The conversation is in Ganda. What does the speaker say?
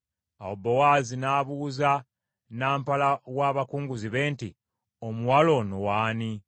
Awo Bowaazi n’abuuza nampala wa bakunguzi be nti, “Omuwala ono w’ani?”